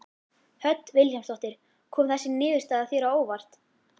Hödd Vilhjálmsdóttir: Kom þessi niðurstaða þér á óvart?